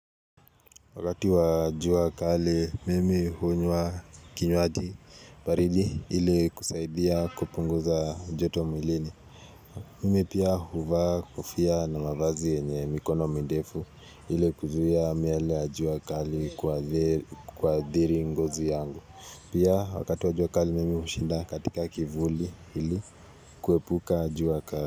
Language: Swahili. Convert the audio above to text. Wakati wa juakali, mimi hunywa kinywaji baridi ili kusaidia kupunguza joto muilini. Mimi pia huva kofia na mavazi yenye mikono mirefu ili kuzia miale ya juuakali kuadhiri ngozi yangu. Pia wakati wa juakali, mimi ushinda katika kivuli ili kuepuka juakali.